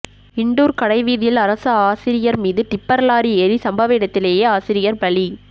இண்டூா் கடைவீதியில் அரசு ஆசிரியர் மீது டிப்பா் லாரி ஏறி சம்பவ இடத்திலேயே ஆசிரியர் பலி